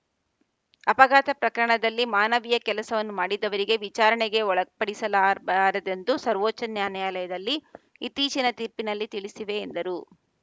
ಅಪಘಾತ ಪ್ರಕರಣದಲ್ಲಿ ಮಾನವೀಯ ಕೆಲಸವನ್ನು ಮಾಡಿದವರಿಗೆ ವಿಚಾರಣೆಗೆ ಒಳಪಡಿಸಲಾಬಾರದೆಂದು ಸರ್ವೋಚ್ಚ ನ್ಯಾ ನ್ಯಾಯಾಲಯದಲ್ಲಿ ಇತ್ತೀಚಿನ ತೀರ್ಪಿನಲ್ಲಿ ತಿಳಿಸಿದೆ ಎಂದರು